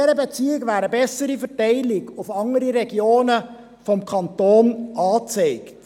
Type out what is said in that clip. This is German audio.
Diesbezüglich wäre eine bessere Verteilung auf andere Regionen des Kantons angezeigt.